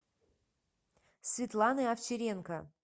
светланы овчаренко